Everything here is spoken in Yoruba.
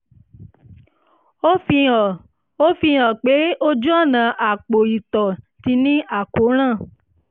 ó fihàn ó fihàn pé ojú ọ̀nà apò ìtọ̀ ti ní àkóràn